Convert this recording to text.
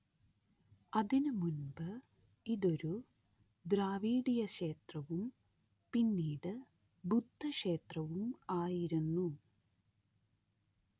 അതിനുമുൻപ് ഇതൊരു ദ്രാവിഡീയക്ഷേത്രവും പിന്നീട് ബുദ്ധക്ഷേത്രവും ആയിരുന്നു